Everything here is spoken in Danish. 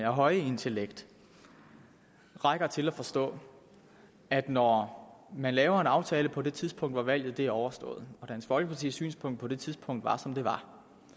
høje intellekt rækker til at forstå at når man laver en aftale på det tidspunkt hvor valget er overstået og dansk folkepartis synspunkt på det tidspunkt var som det var